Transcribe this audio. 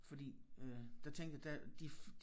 Fordi øh der tænker der de